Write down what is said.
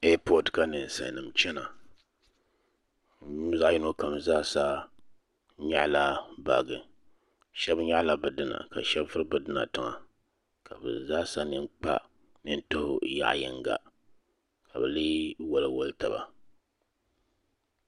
Ɛapɔt ka ninsali nima chana bi zaa yino kam zaa sa nyaɣi la baaji shɛba nyaɣi la bi dina ka shɛba vuri bi dina tiŋa ka bi zaa sa nini tuhi yaɣa yinga ka bi lee wali wali taba.